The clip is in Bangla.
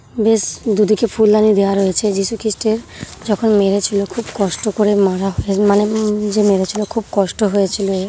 বেশ দুদিকে ফুলদানি দেয়া রয়েছে। যিশুখ্রিস্টের যখন মেরেছিল খুব কষ্ট করে মারা হয় মানে -এ যে মেরেছিল খুব কষ্ট হয়েছিল।